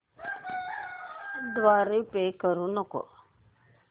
द्वारे पे करू नको